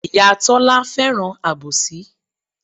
Ìyá Tọ́lá fẹ́ràn àbòsí.